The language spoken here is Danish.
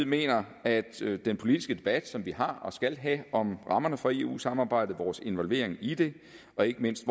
mener at den politiske debat som vi har og skal have om rammerne for eu samarbejdet om vores involvering i det og ikke mindst